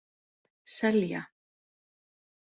Selja